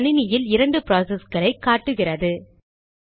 என் கணினியில் இரண்டு ப்ராசஸ்களை காட்டுகிறது